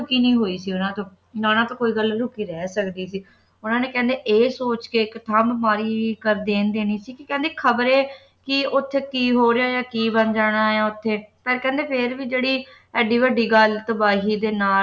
ਲੁਕੀ ਨਹੀਂ ਹੋਈ ਸੀ ਨਾ ਉਨ੍ਹਾਂ ਤੋਂ ਨਾ ਉਹਨਾਂ ਤੋਂ ਕੋਈ ਗੱਲ ਲੁਕੀ ਰਹੀ ਸਕਦੀ ਸੀ ਉਨ੍ਹਾਂ ਨੇ ਕਹਿੰਦੇ ਇਹ ਸੋਚ ਕੇ ਇੱਕ ਥਾਂ ਤੇ ਬਿਮਾਰੀ ਕਰ ਦੇਣ ਦੇਣੀ ਸੀ ਕਹਿੰਦੇ ਖਬਰੇ ਕਿ ਉੱਥੇ ਕੀ ਹੋ ਰਿਹਾ ਕੀ ਬਣ ਜਾਣਾ ਉੱਥੇ ਪਰ ਕਹਿੰਦੇ ਫੇਰ ਵੀ ਜਿਹੜੀ ਐਡੀ ਵੱਡੀ ਗੱਲ ਤਬਾਹੀ ਦੇ ਨਾਲ